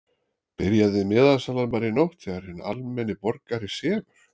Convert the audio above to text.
Byrjaði miðasalan bara í nótt þegar hinn almenni borgari sefur?